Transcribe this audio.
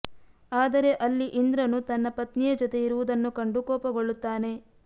ಆದರೆ ಅಲ್ಲಿ ಇಂದ್ರನು ತನ್ನ ಪತ್ನಿಯ ಜೊತೆ ಇರುವುದನ್ನು ಕಂಡು ಕೋಪಗೊಳ್ಳುತ್ತಾನೆ